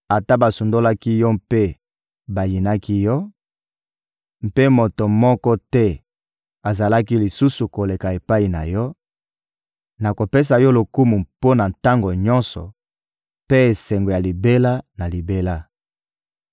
Ata basundolaki yo mpe bayinaki yo, mpe moto moko te azalaki lisusu koleka epai na yo, nakopesa yo lokumu mpo na tango nyonso mpe esengo ya libela na libela.